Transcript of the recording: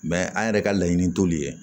Mɛ an yɛrɛ ka laɲini t'olu ye